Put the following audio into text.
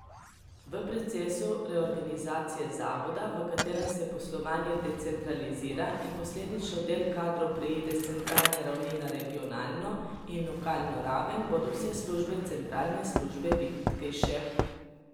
V procesu reorganizacije zavoda, v katerem se poslovanje decentralizira in posledično del kadrov preide s centralne ravni na regionalno in lokalno raven, bodo vse službe Centralne službe vitkejše.